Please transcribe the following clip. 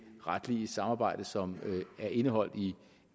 retlige samarbejde som er indeholdt i